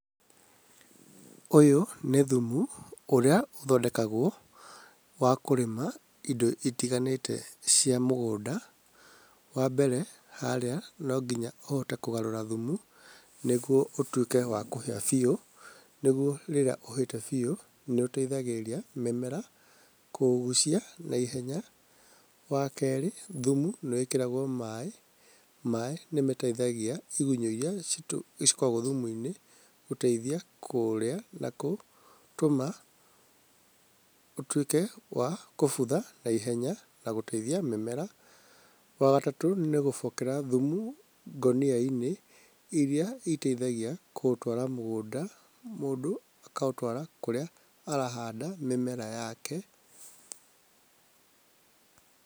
Ũyũ nĩ thumu ũrĩa ũthondekagwo wa kũrĩma indo itiganĩte cia mũgũnda. Wa mbere harĩa no nginya ũhote kũgarũra thumu nĩguo ũtuĩke wa kũhĩa biũ. Nĩguo rĩrĩa ũhĩte biũ, nĩ ũteithagĩrĩria mĩmera kũũgucia naihenya. Wa kerĩ thumu nĩ wĩkĩragwo maaĩ, maaĩ nĩ mateithagia igunyũ irĩa cikoragwo thumu-inĩ gũteithia kũrĩa na gũtũma, ũtuĩke wa kũbutha naihenya na gũteithia mĩmera. Wa gatatũ nĩ gũbokera thumu ngũnia-inĩ irĩa iteithagia gũtwara mũgũnda, mũndũ akaũtwara kũrĩa arahanda mĩmera yake.